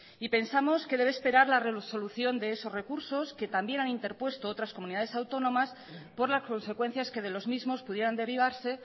y pensamos que debe esperar la resolución de esos recursos que también han interpuesto otras comunidades autónomas por las consecuencias que de los mismos pudieran derivarse